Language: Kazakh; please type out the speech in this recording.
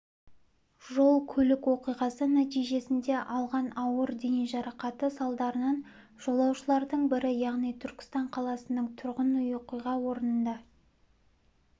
жол-көлік оқиғасы нәтижесінде алған ауыр дене жарақаты салдарынан жолаушылардың бірі яғни түркістан қаласының тұрғыны оқиға орнында